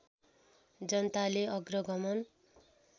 जनताले अग्रगमन